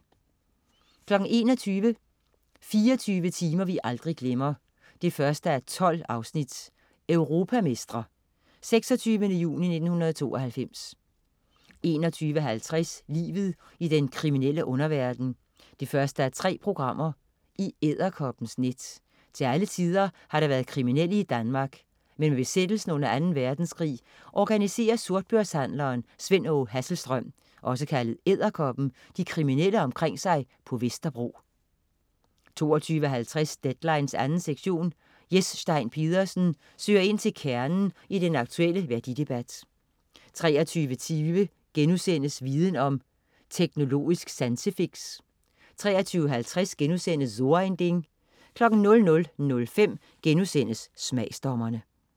21.00 24 timer vi aldrig glemmer 1:12. Europamestre. 26. juni 1992 21.50 Livet i den kriminelle underverden 1:3. I Edderkoppens net. Til alle tider har der været kriminelle i Danmark, men med besættelsen under Anden Verdenskrig organiserer sortbørshandleren Sven Åge Hasselstrøm, også kaldet Edderkoppen, de kriminelle omkring sig på Vesterbro 22.50 Deadline 2. sektion. Jes Stein Pedersen søger ind til kernen i den aktuelle værdidebat 23.20 Viden om: Teknologisk sansefix* 23.50 So ein Ding* 00.05 Smagsdommerne*